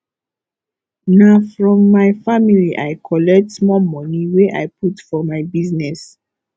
na from my family i collect small moni wey i put for my business